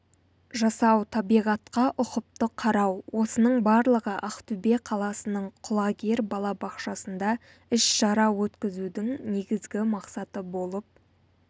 жасау табиғатқа ұқыпты қарау осының барлығы ақтөбе қаласының құлагер балабақшасында іс-шара өткізудің негізгі мақсаты болып